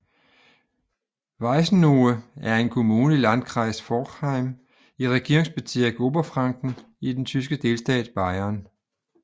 Weißenohe er en kommune i Landkreis Forchheim i Regierungsbezirk Oberfranken i den tyske delstat Bayern